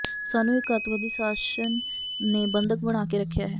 ਸਾਨੂੰ ਇਕ ਅੱਤਵਾਦੀ ਸ਼ਾਸਨ ਨੇ ਬੰਧਕ ਬਣਾ ਕੇ ਰੱਖਿਆ ਹੈ